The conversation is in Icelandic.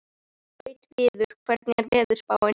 Gautviður, hvernig er veðurspáin?